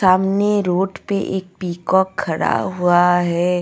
सामने रोड पे एक पीकॉक खड़ा हुआ है.